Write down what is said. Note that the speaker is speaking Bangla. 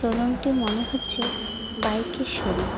রুম -টি মনে হচ্ছে বাইক -এর শোরুম ।